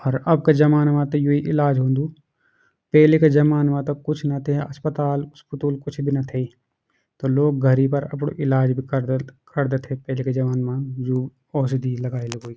अर अब का जमाना मा त यु इलाज हून्दू पेले का जमाना मा त कुछ न थे अस्पताल उस्पुतूल कुछ भी न थे तो लोग घर ही पर अपडू इलाज भी करदा करदा थे पहले का जमाना मा जू औषधि लगाई लुगुई।